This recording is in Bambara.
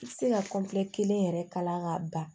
I tɛ se ka kelen yɛrɛ kala k'a ban